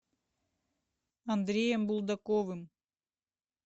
андреем булдаковым